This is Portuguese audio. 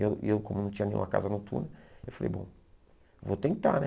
E eu e eu, como não tinha nenhuma casa noturna, eu falei, bom, vou tentar né.